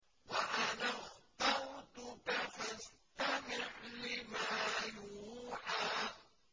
وَأَنَا اخْتَرْتُكَ فَاسْتَمِعْ لِمَا يُوحَىٰ